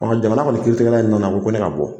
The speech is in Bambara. Ɔ jamana kɔni kiiritigɛta in nana ko ne ka bɔ